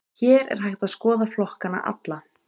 Hér er hægt að skoða flokkana alla.